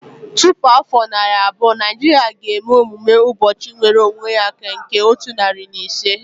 Tupu afọ narị abụọ, Naijiria ga-eme emume ụbọchị nwere onwe ya nke otu narị na iri ise